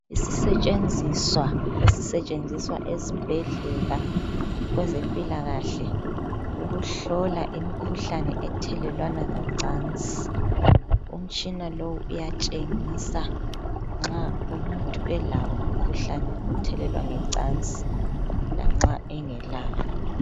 Isisetshenziswa esisetshenziswa ezibhedlela kwezempilakahle ukuhlola imkhuhlane ethelelwana ngecansi. Umtshina lowu uyatshengisa nxa umuntu elawo umkhuhlane othelelwana ngecansi lanxa engelawo.